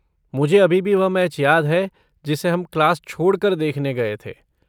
मुझे अभी भी वह मैच याद है जिसे हम क्लास छोड़ कर देखने गए थे।